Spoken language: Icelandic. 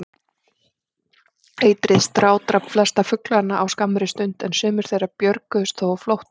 Eitrið strádrap flesta fuglana á skammri stund, en sumir þeirra björguðust þó á flótta.